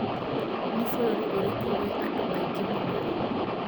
Nĩ bũrũrĩ ũrĩkũ wĩna andũ a ĩngĩ mũno